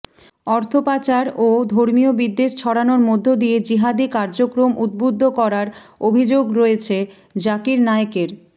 অর্থপাচার ও ধর্মীয় বিদ্বেষ ছড়ানোর মধ্য দিয়ে জিহাদি কার্যক্রম উদ্বুদ্ধ করার অভিযোগ রয়েছে জাকির নায়েকের